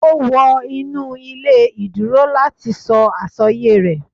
O wọ inu ile ìduro lati sọ asọye rẹ.